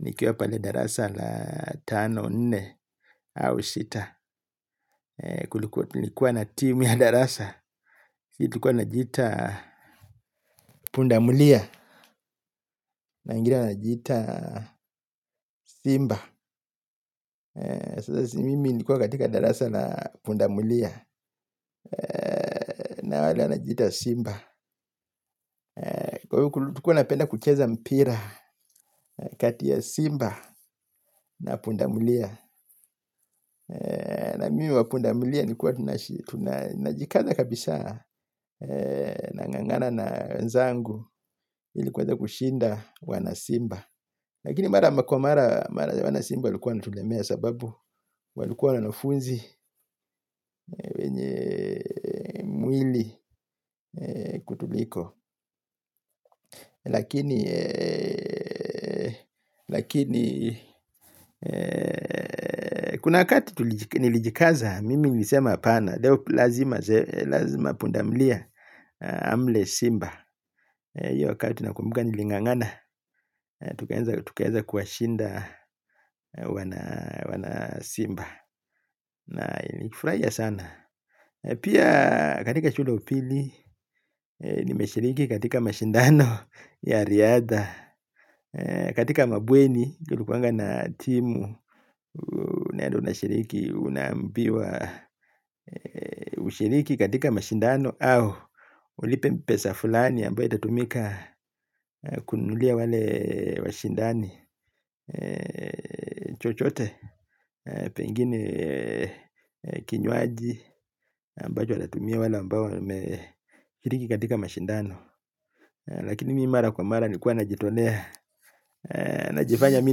nikiwa pale darasa la tano nne au sita. Nikuwa na timu ya darasa. Nikuwa najiita pundamulia. Na ingine inajita simba. Sasa si mimi nilikuwa katika darasa la pundamulia. Na wale wanajiita simba. Tukuwa napenda kucheza mpira kati ya simba na pundamulia. Na mimi wa pundamulia nikuwa tunajikaza kabisa nangangana na wenzangu ili kuweza kushinda wana simba. Lakini mara kwa mara wana simba walikuwa wanatulemea sababu walikuwa na wanafunzi wenye mwili kutuliko. Lakini, lakini, kuna wakati nilijikaza, mimi nilisema apana, leo lazima pundamlia amle simba. Iyo wakati nakumbuka nilingangana, tukaeza kuwashinda wana simba. Na inifraia sana. Pia katika shule ya upili, nimeshiriki katika mashindano ya riadha. Katika mabweni tulikuanga na timu. Unaende na shiriki. Unaambiwa ushiriki katika mashindano au ulipe pesa fulani ambao itatumika kununulia wale Washindani Chochote Pengine Kinywaji Ambacho watatumia wale ambao wameshiriki katika mashindano. Lakini mi mara kwa mara nilikuwa na jitolea. Na jifanya mi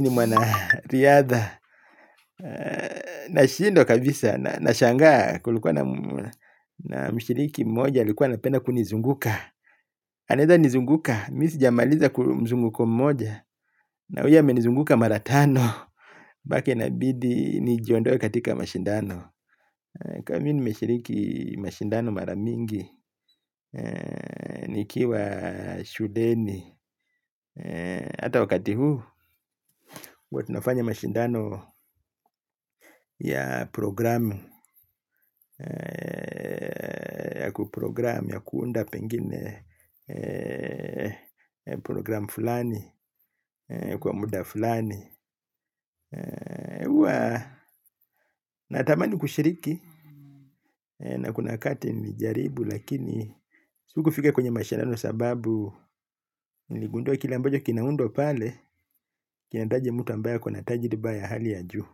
ni mwana riadha. Na shindwa kabisa. Nashangaa kulikuwa na mshiriki mmoja alikuwa anapenda kunizunguka. Anaeza nizunguka. Mi sijamaliza kumzunguko mmoja. Na huyo amenizunguka mara tano. Bake inabidi ni jiondoe katika mashindano. Kuwa mi nimeshiriki mashindano mara mingi. Nikiwa shuueni. Ata wakati huu. Uwa tinafanya mashindano ya program ya kuunda pengine program fulani kwa muda fulani. Uwa natamani kushiriki na kuna wakati nilijaribu lakini sikufika kwenye mashindano sababu niligundua kila ambacho kinaundwa pale kinaitaji mtu ambayo ako na tajriba ya hali ya juu.